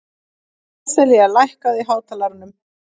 Seselía, lækkaðu í hátalaranum.